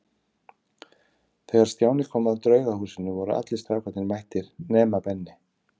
Þegar Stjáni kom að Draugahúsinu voru allir strákarnir mættir nema Benni.